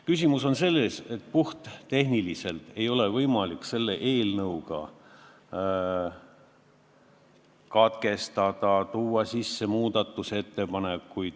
Küsimus on selles, et puhttehniliselt ei ole võimalik selle eelnõuga neid muudatusi seaduses teha.